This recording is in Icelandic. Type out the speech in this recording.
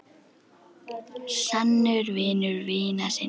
Sannur vinur vina sinna.